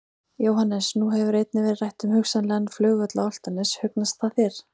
Jóhannes: Nú hefur einnig verið rætt um hugsanlegan flugvöll á Álftanes, hugnast það þér?